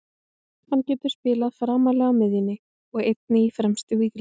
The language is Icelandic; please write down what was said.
Hann getur spilað framarlega á miðjunni og einnig í fremstu víglínu.